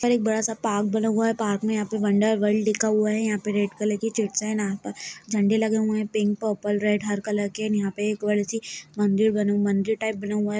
बड़ा सा एक बड़ा स पार्क बना हुआ है पार्क मे यहाँ पे वन्डर वर्ल्ड लिखा हुआ है यहाँ पे रेड कलर की छिटस है पर जंडे लगे हुए है पिंक पर्पल रेड हर कलर के एंड यहाँ पे मंदिर बना हुआ मंदिर टाइप बना हुआ है।